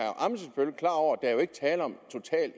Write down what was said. tale om